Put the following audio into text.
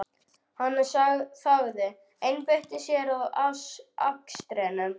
Hann þagði, einbeitti sér að akstrinum.